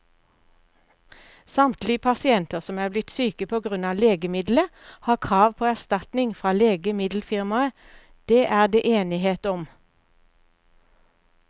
Samtlige pasienter som er blitt syke på grunn av legemiddelet, har krav på erstatning fra legemiddelfirmaet, det er det enighet om.